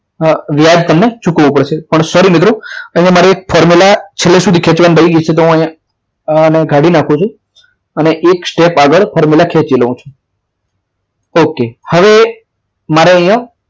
વ્યાજ તમને ચૂકવવું પડશે પણ sorry મિત્રો અહીંયા મારી એક formula છેલ્લે સુધી ખેંચવાની રહી ગઈ છે તો હું અહીંયા આને કાઢી નાખું છું અને એક step આગળ formula ખેંચી દઉં છું okay હવે મારે અહીંયા